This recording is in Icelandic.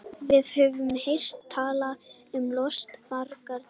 Við höfum heyrt talað um lostfagra liti.